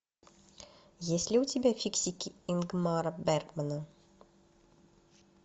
есть ли у тебя фиксики ингмара бергмана